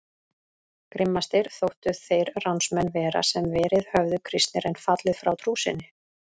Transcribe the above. Grimmastir þóttu þeir ránsmenn vera sem verið höfðu kristnir en fallið frá trú sinni.